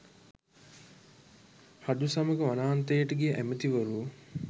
රජු සමග වනාන්තරයට ගිය ඇමතිවරු